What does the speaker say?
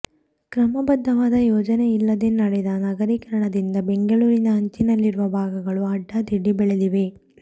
ಕ್ರಮಬದ್ಧವಾದ ಯೋಜನೆಯಿಲ್ಲದೆ ನಡೆದ ನಗರೀಕರಣದಿಂದ ಬೆಂಗಳೂರಿನ ಅಂಚಿನಲ್ಲಿರುವ ಭಾಗಗಳು ಅಡ್ಡಾದಿಡ್ಡಿ ಬೆಳೆದಿವೆ